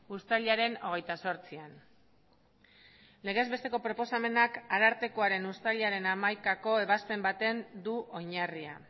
uztailaren hogeita zortzian legez besteko proposamenak arartekoaren uztailaren hamaikako ebazpen baten du oinarria